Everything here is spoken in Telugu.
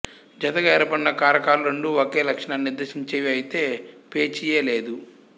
జతగా ఏర్పడిన కారకాలు రెండూ ఒకే లక్షణాన్ని నిర్దేశించేవి అయితే పేచీయే లేదు